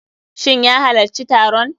Shin ya halacci taron?